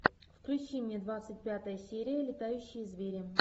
включи мне двадцать пятая серия летающие звери